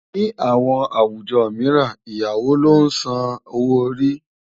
Ní àwọn àwùjọ mìíràn, Ìyàwó ló ń san owó orí ọkọ.